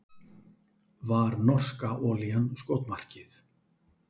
Var norska olían skotmarkið